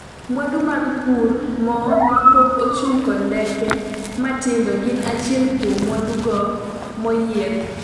mwandu mag pur, mo mapok ochug kod ndeke matindo gin achiel kuom mwandu go moyiedh